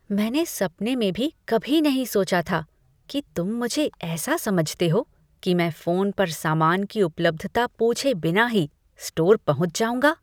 मैंने सपने में भी कभी नहीं सोचा था कि तुम मुझे ऐसा समझते हो कि मैं फोन पर सामान की उपलब्धता पूछे बिना ही स्टोर पहुँच जाऊँगा।